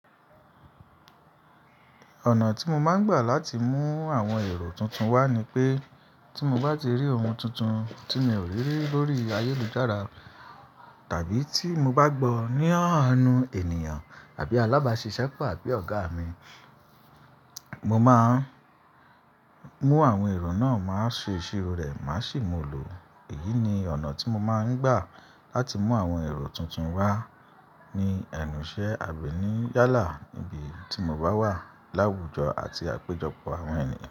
Ọ̀nà tí mo máa ń gbà láti mú àwọn èrò tuntun wá ni pé, tí mo bá rí ohun tuntun tí mi ò rí lórí ayélujára tàbí tí mo bá gbọ́ ní ọ̀nu ẹniyan tàbí alábàáṣiṣẹ́pọ̀ àbí ọ̀gá mi, mo máa mú àwọn èrò náà, máa ṣe ìṣirò rẹ̀, máa sì mú un lò. Èyí ni ọ̀nà tí mo máa ń gbà láti mú àwọn èrò tuntun wá ní ẹnùṣẹ àbí ní yálà níbi tí mo bá wà láwùjọ àti àpéjọpọ̀ àwọn ènìyàn.